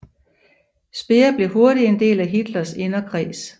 Speer blev hurtigt en del af Hitlers inderkreds